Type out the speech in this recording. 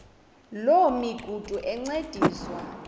loo migudu encediswa